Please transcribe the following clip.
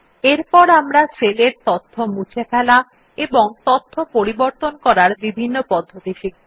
এরপর আমরা সেলের তথ্য মুছে ফেলা এবং তথ্য পরিবর্তন করার বিভিন্ন পদ্ধতি শিখব